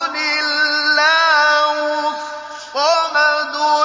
اللَّهُ الصَّمَدُ